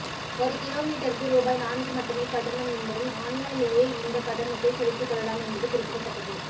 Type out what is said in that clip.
ஒரு கிலோ மீட்டருக்கு ரூபாய் நான்கு மட்டுமே கட்டணம் என்பதும் ஆன்லைனிலேயே இந்த கட்டணத்தை செலுத்தி கொள்ளலாம் என்பது குறிப்பிடத்தக்கது